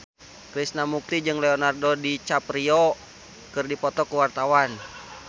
Krishna Mukti jeung Leonardo DiCaprio keur dipoto ku wartawan